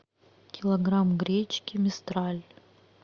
килограмм гречки мистраль